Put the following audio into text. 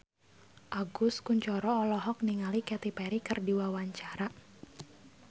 Agus Kuncoro olohok ningali Katy Perry keur diwawancara